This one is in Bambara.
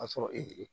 A sɔrɔ e